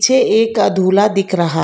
छे एक अधुला दिख रहा--